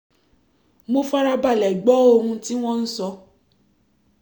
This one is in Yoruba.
mo fara balẹ̀ gbọ́ ohun tí wọ́n ń sọ